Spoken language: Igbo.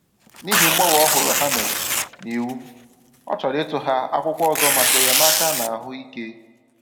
N’ihi mgbanwe òhùrù ha mere n’iwu, ọ chọ̀rò ịtụghà akwụkwọ ọzọ maka enyémàkà n’ahụ́ ike.